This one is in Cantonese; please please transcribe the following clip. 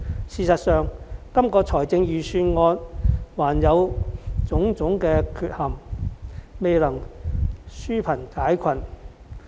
事實上，這份預算案仍存在種種缺陷，未能紓貧解困。